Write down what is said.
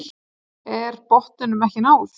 Er botninum ekki náð?